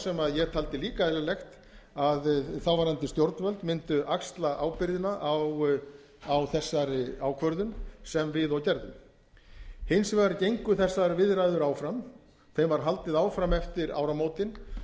sem ég taldi líka eðlilegt að þáverandi stjórnvöld mundu axla ábyrgðina á þessari ákvörðun sem við og gerðum hins vegar gengu þessar viðræður áfram þeim var haldið áfram eftir áramótin